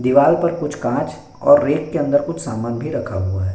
दीवाल पर कुछ कांच और रैक के अंदर कुछ सामान भी रखा है।